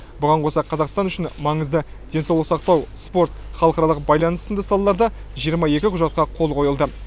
бұған қоса қазақстан үшін маңызды денсаулық сақтау спорт халықаралық байланыс сынды салаларда жиырма екі құжатқа қол қойылды